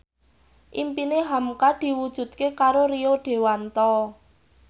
impine hamka diwujudke karo Rio Dewanto